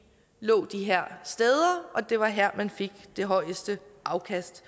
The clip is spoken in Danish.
lå de her steder og det var her man fik det højeste afkast